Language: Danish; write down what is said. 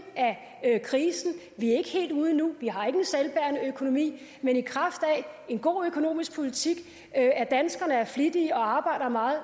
af krisen vi er ikke helt ude endnu vi har ikke en selvbærende økonomi men i kraft af en god økonomisk politik og af at danskerne er flittige og arbejder meget